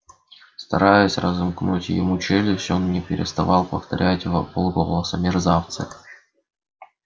стараясь разомкнуть ему челюсти он не переставал повторять вполголоса мерзавцы